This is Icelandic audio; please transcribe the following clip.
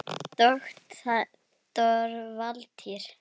Doktor Valtýr